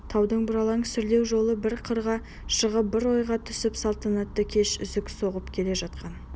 таудың бұралаң сүрлеу жолы бір қырға шығып бір ойға түсіп салтанатты кеш үзік-созық келе жатқан